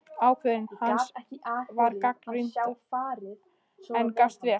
Ákvörðun hans var gagnrýnd, en gafst vel.